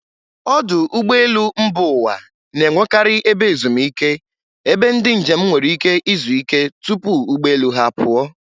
Ọdụ ụgbọ elu mba ụwa na-enwekarị ebe ezumike, ebe ndị njem nwere ike izuike tupu ụgbọ elu ha apụọ.